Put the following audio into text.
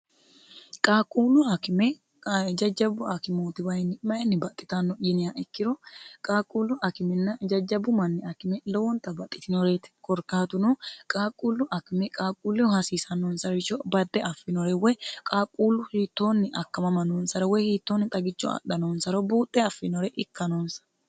qaaquullu akime jajjabu akimooti wayinni mayinni baxxitanno yiniya ikkiro qaaquullu akiminna jajjabu manni akime lowoonta baxxitinoreti korkaatuno qaaquullu akime qaaquulleho hasiisannoonsarrisho badde affiinore woy qaaquullu hiittoonni akkamama noonsara woy hiittoonni xagicho adha noonsaro buuxxe affinore ikka noonsa